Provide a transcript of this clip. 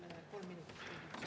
Palun mulle kolm minutit lisaks.